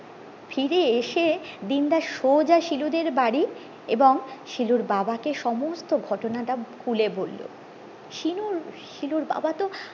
ফিরে এসে দিন দা সোজা শিলুদের বাড়ি এবং শিলুর বাবাকে সমস্ত ঘটনাটা খুলে বললো শিলুর শিলুর বাবা তো